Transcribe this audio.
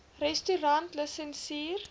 restaurantlisensier